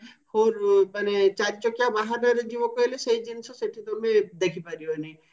four ମାନେ ଚାରିଚକିଆ ବାହନରେ ଯୋଉ କହିଲେ ସେଇ ଜିନିଷ ସେଠି ତମେ ଦେଖି ପାରିବନି